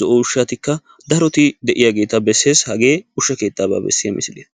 zo'o ushshatikka daroti de'iyaageta bessees. Hage ushshatana bessiya misiliya.